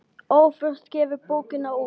Óþurft gefur bókina út.